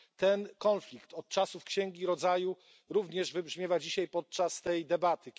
Ten konflikt od czasów Księgi Rodzaju również wybrzmiewa dzisiaj podczas tej debaty.